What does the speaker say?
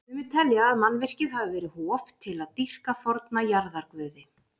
Sumir telja að mannvirkið hafi verið hof til að dýrka forna jarðarguði.